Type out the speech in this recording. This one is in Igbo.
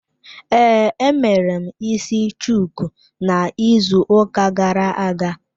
Ee, emere m isi shuku na ịzụ ụka gara-aga.